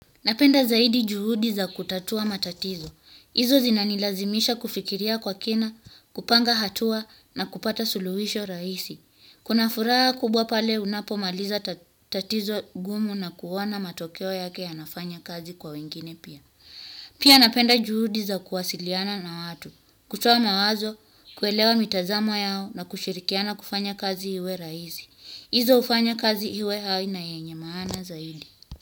Napenda zaidi juhudi za kutatua matatizo. Hizo zinanilazimisha kufikiria kwa kina, kupanga hatua na kupata suluhisho rahisi. Kuna furaha kubwa pale unapomaliza tatizo gumu na kuona matokeo yake yanafanya kazi kwa wengine pia. Pia napenda juhudi za kuwasiliana na watu. Kutoa mawazo, kuelewa mitazamo yao na kushirikiana kufanya kazi iwe rahisi. Hizo uhufanya kazi iwe hai na yenye maana zaidi.